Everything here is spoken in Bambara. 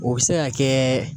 O be se ka kɛ